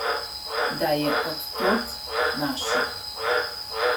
Da je od tod, naša.